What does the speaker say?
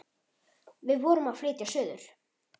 Við vorum að flytja suður.